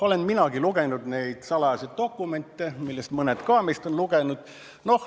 Olen minagi neid salajasi dokumente lugenud, ka mitmed teised meist on neid lugenud.